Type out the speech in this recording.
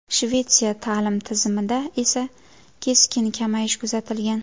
Shvetsiya ta’lim tizimida esa keskin kamayish kuzatilgan.